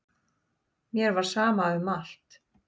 Mér var sama um allt.